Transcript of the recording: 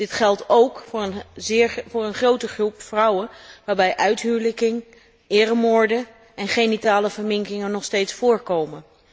Dit geldt ook voor een grote groep vrouwen waarbij uithuwelijking, eremoorden en genitale verminkingen nog steeds voorkomen.